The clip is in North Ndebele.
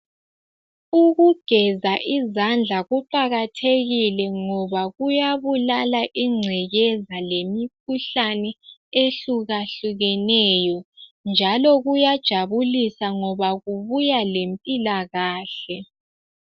Ukugeza izandla kuqakathekile, ngoba kuyabulala ingcekeza lemikhuhlane ehlukahlukeneyo, njalo kuyajabulisa ngoba kubuya lempilakahle